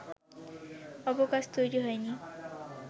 অবকাশ তৈরি হয়নি